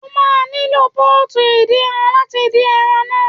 O máa nílò Pọ́ọ̀tù ìdín ran láti dín ẹran náà.